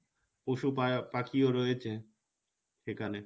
পশু পায়া পাখিও রয়েছে সেখানে